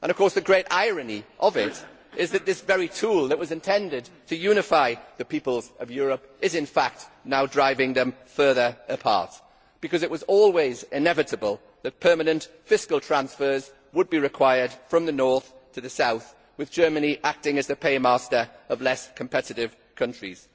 The great irony of it is that this very tool that was intended to unify the peoples of Europe is in fact now driving them further apart, because it was always inevitable that permanent fiscal transfers would be required from the north to the south, with Germany acting as the paymaster of less competitive countries.